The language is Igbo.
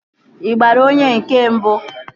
Ị gbara onye nke mbụ?